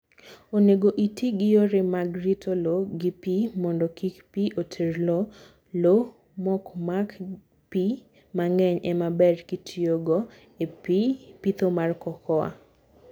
Onego itii gi yore mag rito low gi pii mondo kik pii oter loo. Low mokmak pii mangeny emaber kitiyogo e pitho mar cocoa